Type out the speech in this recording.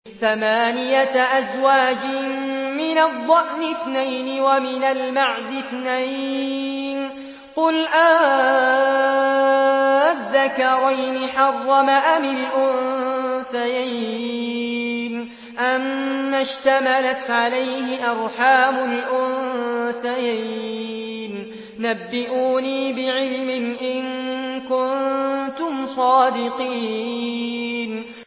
ثَمَانِيَةَ أَزْوَاجٍ ۖ مِّنَ الضَّأْنِ اثْنَيْنِ وَمِنَ الْمَعْزِ اثْنَيْنِ ۗ قُلْ آلذَّكَرَيْنِ حَرَّمَ أَمِ الْأُنثَيَيْنِ أَمَّا اشْتَمَلَتْ عَلَيْهِ أَرْحَامُ الْأُنثَيَيْنِ ۖ نَبِّئُونِي بِعِلْمٍ إِن كُنتُمْ صَادِقِينَ